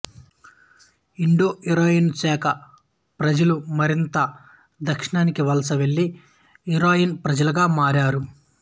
ఈ ఇండోఇరానియన్ శాఖ ప్రజలు మరింత దక్షిణానికి వలస వెళ్లి ఇరానియన్ ప్రజలుగా మారారు